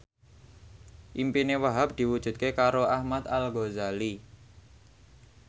impine Wahhab diwujudke karo Ahmad Al Ghazali